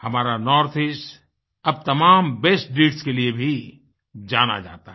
हमारा नॉर्थ Eastअब तमाम बेस्ट डीड्स के लिए भी जाना जाता है